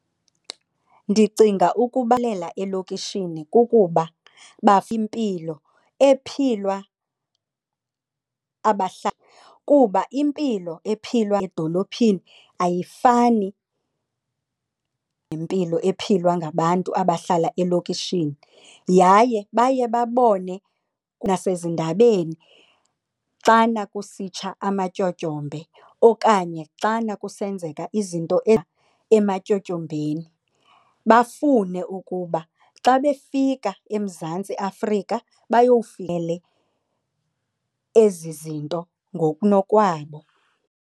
Ndicinga elokishini kukuba . Kuba impilo ephilw edolophini ayifani nempilo ephilwa ngabantu abahlala elokishini yaye baye babone nasezindabeni xana kusitsha amatyotyombe okanye xana kusenzeka izinto ematyotyombeni, bafune ukuba xa befika eMzantsi Afrika ezi zinto ngokunokwabo.